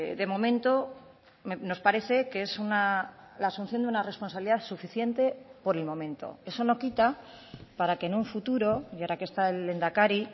de momento nos parece que es la asunción de una responsabilidad suficiente por el momento eso no quita para que en un futuro y ahora que está el lehendakari